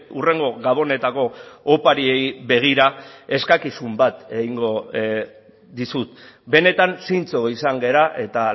hurrengo gabonetako opariei begira eskakizun bat egingo dizut benetan zintzo izan gara eta